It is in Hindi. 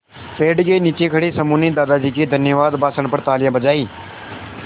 पेड़ के नीचे खड़े समूह ने दादाजी के धन्यवाद भाषण पर तालियाँ बजाईं